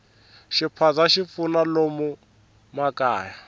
xiphaza xi pfuna lomu makaya